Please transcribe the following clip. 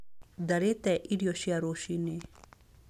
Ndarĩte irio cia rũcinĩ.